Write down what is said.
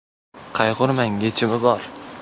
Qayg‘urmang, yechim bor!.